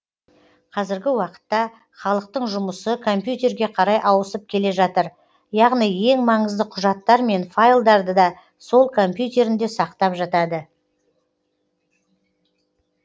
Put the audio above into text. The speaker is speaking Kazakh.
қазіргі уақытта халықтың жұмысы компьютерге қарай ауысып келе жатыр яғни ең маңызды құжаттар мен файлдарды да сол компьютерінде сақтап жатады